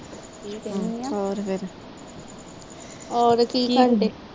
ਕੀ ਕਹਿਣ ਦੀਆ